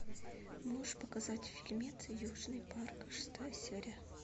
можешь показать фильмец южный парк шестая серия